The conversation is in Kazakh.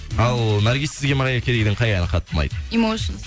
ал наргиз сізге мэрайя кэриден қай әні қатты ұнайды